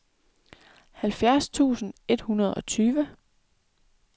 halvfjerds tusind et hundrede og tyve